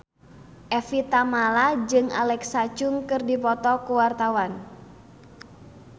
Evie Tamala jeung Alexa Chung keur dipoto ku wartawan